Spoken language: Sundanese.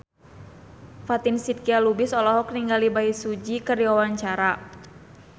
Fatin Shidqia Lubis olohok ningali Bae Su Ji keur diwawancara